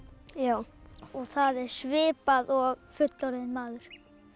já og það er svipað og fullorðinn maður